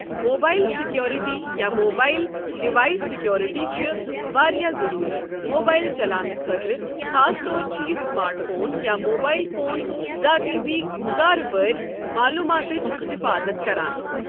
Mobile security یا mobile device security چھِ واریاہ ضٔروٗری موبائل چلاونہٕ خٲطرٕ خاص طور چھُ یہِ سمارٹ فون یا موبائل فون ذاتی بی کارباری معلوماتچ حِفاطت کران.